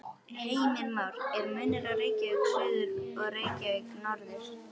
Heimir Már: Er munur á Reykjavík suður og Reykjavík norður?